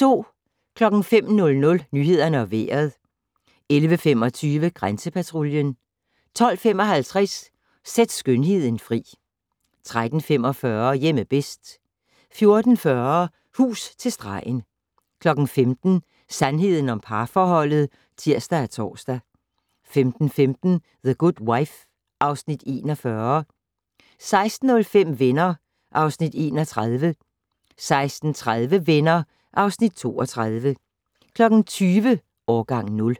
05:00: Nyhederne og Vejret 11:25: Grænsepatruljen 12:55: Sæt skønheden fri 13:45: Hjemme bedst 14:40: Hus til stregen 15:00: Sandheden om parforholdet (tir og tor) 15:15: The Good Wife (Afs. 41) 16:05: Venner (Afs. 31) 16:30: Venner (Afs. 32) 20:00: Årgang 0